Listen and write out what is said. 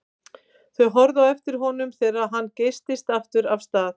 Þau horfðu á eftir honum þegar hann geystist aftur af stað.